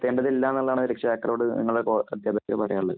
ചെയ്യേണ്ടതില്ല എന്നുള്ളതാണ് രക്ഷിതാക്കളോട് നിങ്ങള് അധ്യാപകര്‍ക്ക് പറയാനുള്ളത്.